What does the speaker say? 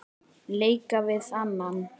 leika við annan